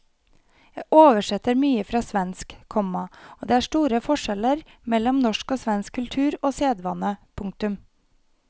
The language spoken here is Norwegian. Jeg oversetter mye fra svensk, komma og det er store forskjeller mellom norsk og svensk kultur og sedvane. punktum